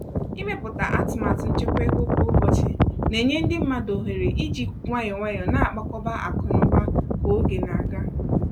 Ịwepụta átụmatà nchekwa ọ́gwụ́kwụ́ ọ̀ bụsị na-enye ndị mmadụ ọ́hèré e ji nwayọ̀-nwayọ̀ na-akpàkọba ákụ́ n'úbà ka ógè na-agá.